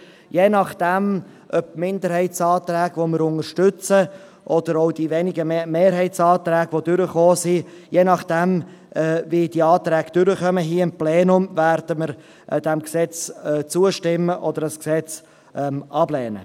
Je nachdem, ob die Minderheitsanträge, welche wir unterstützen, oder auch die wenigen Mehrheitsanträge, welche durchkamen, hier im Plenum durchkommen oder nicht, werden wir diesem Gesetz zustimmen oder es ablehnen.